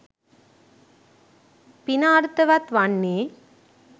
පින අර්ථවත් වන්නේ.